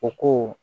O ko